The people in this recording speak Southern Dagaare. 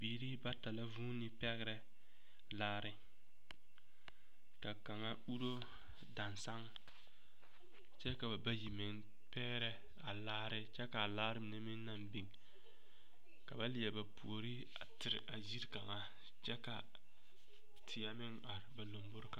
Biiri bata la vuuni pɛgrɛ laare ka kaŋa uro dansaŋ kyɛ ka ba bayi meŋ pɛgrɛ a laare kyɛ ka a laare mine naŋ biŋ ka ba Leɛre ba puori a tere a yiri kaŋa kyɛ ka teɛ meŋ are ba lomboriŋ.